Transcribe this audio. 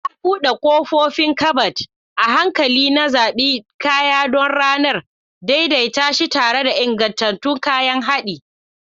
Na buɗe ƙofofin kabad, a hankali na zaɓi kaya don ranar, daidaita shi tare da ingantattun kayan haɗi.